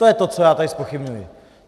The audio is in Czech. To je to, co já tady zpochybňuji.